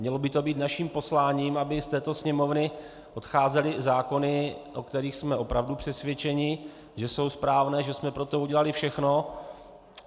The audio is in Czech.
Mělo by to být naším posláním, aby z této Sněmovny odcházely zákony, o kterých jsme opravdu přesvědčeni, že jsou správné, že jsme pro to udělali všechno.